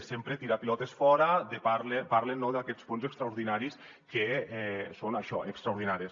sempre tirar pilotes fora parlen no d’aquests fons extraordinaris que són això extraordinaris